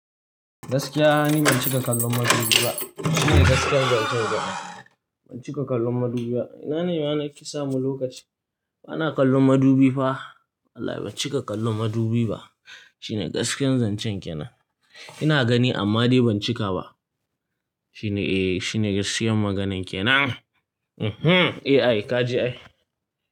Gaskiya, ni ban cika kallon madubi ba. Shine gaskiyar zancen dai. Ban cika kallon madubi ba. Ina ni nake samun lokaci bana kallon madubi fa. Wallahi ban cika kallon madubi ba. Shine gaskiyar zancen ke nan. Ina gani amma dai ban cika ba. Shine, eh shine gaskiyar maganan ke nan. Eeh, ka ji ai.